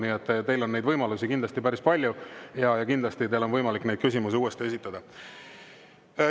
Nii et teil on neid võimalusi päris palju ja kindlasti on teil võimalik neid küsimusi uuesti esitada.